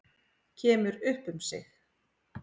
Kemur upp um sig.